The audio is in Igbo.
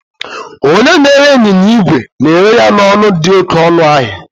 Onye na-ere ịnyịnya igwe na-ere ya n'ọnụ dị oke ọnụ ahịa